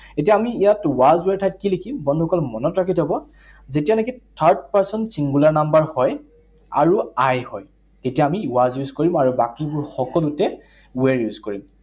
এতিয়া আমি ইয়াত was were ৰ ঠাইত কি লিখিম? বন্ধুসকল মনত ৰাখি থব, যেতিয়া নেকি third person singular number হয়, আৰু I হয়, তেতিয়া আমি was use কৰিম আৰু বাকীবোৰ সকলোতে were use কৰিম।